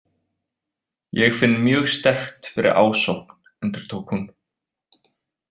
Ég finn mjög sterkt fyrir ásókn, endurtók hún.